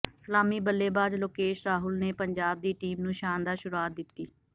ਸਲਾਮੀ ਬੱਲੇਬਾਜ਼ ਲੋਕੇਸ਼ ਰਾਹੁਲ ਨੇ ਪੰਜਾਬ ਦੀ ਟੀਮ ਨੂੰ ਸ਼ਾਨਦਾਰ ਸ਼ੁਰੂਆਤ ਦਿੱਤੀ